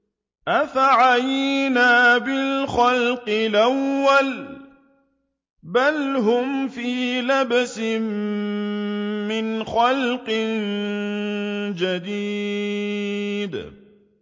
أَفَعَيِينَا بِالْخَلْقِ الْأَوَّلِ ۚ بَلْ هُمْ فِي لَبْسٍ مِّنْ خَلْقٍ جَدِيدٍ